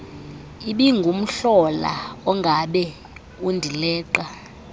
ibingumhlola ongabe undileqa